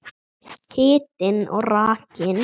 Hitinn og rakinn.